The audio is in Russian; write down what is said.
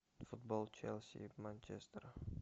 футбол челси и манчестера